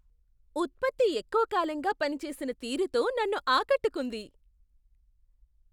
ఉత్పత్తి ఎక్కువకాలంగా పని చేసిన తీరుతో నన్ను ఆకట్టుకుంది.